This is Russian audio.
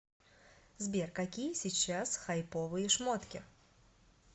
сбер какие сейчас хайповые шмотки